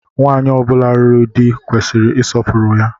Nwaanyi ọ bula lụrụ di kwesịrị isọpuru ya.